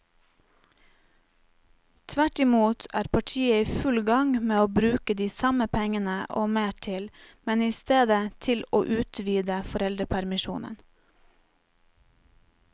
Tvert imot er partiet i full gang med å bruke de samme pengene og mer til, men i stedet til å utvide foreldrepermisjonen.